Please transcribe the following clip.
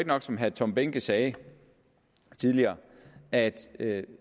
nok som herre tom behnke sagde tidligere at at